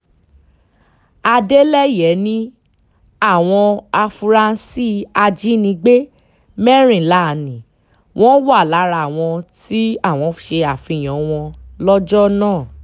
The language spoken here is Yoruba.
adeleye ní àwọn afurasí ajínigbé mẹ́rìnlá ni wọ́n wà lára àwọn tí àwọn ṣe àfihàn wọn lọ́jọ́ náà